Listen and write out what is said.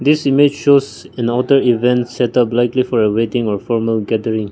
this image shows in auto event set up likely for a waiting or formal gethering.